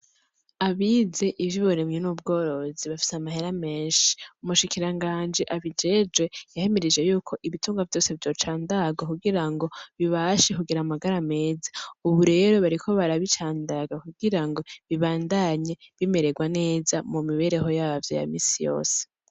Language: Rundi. Abize ivy'uburimyi n'ubworozi bafise amahera menshi. Umushikiranganji abijejwe yahimirije y'uko ibitungwa vyose vyocandagwa kugira ngo bibashe kugira amagara meza; ubu rero bariko barabicandaga kugirango bibandanye bimererwa neza mu mibereho yavyo ya minsi yose.